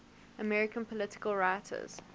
american political writers